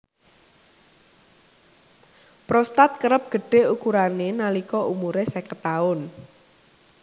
Prostat kerep gedhé ukurané nalika umuré seket taun